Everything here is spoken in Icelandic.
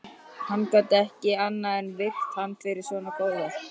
Hann gat ekki annað en virt hann fyrir svona góðverk